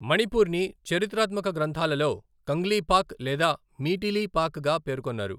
మణిపూర్ని చరిత్రాత్మక గ్రంథాలలో కంగ్లీపాక్ లేదా మీటీలీపాక్గా పేర్కొన్నారు.